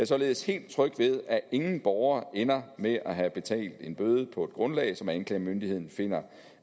således helt tryg ved at ingen borger ender med at have betalt en bøde på et grundlag som anklagemyndigheden finder